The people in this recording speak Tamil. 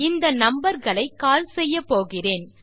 இந்த நம்பர் களை கால் செய்யப்போகிறேன்